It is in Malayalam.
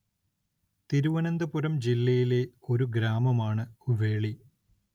തിരുവനന്തപുരം ജില്ലയിലെ ഒരു ഗ്രാമമാണ് വേളി